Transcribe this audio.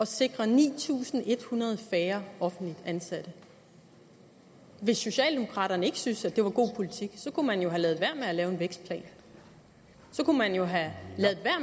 sikre ni tusind en hundrede færre offentligt ansatte hvis socialdemokraterne ikke synes at det var god politik så kunne man jo have ladet være med at lave en vækstplan så kunne man jo have ladet